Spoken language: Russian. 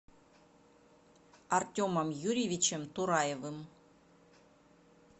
артемом юрьевичем тураевым